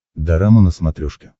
дорама на смотрешке